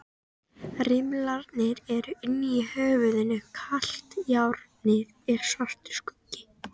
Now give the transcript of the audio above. Rimlarnir eru inni í höfðinu, kalt járnið er svartur skuggi.